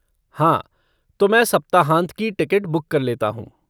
हाँ, तो मैं सप्ताहांत की टिकट बुक कर लेता हूँ।